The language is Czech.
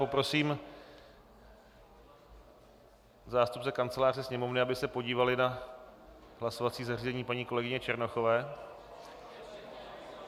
Poprosím zástupce Kanceláře Sněmovny, aby se podívali na hlasovací zařízení paní kolegyně Černochové.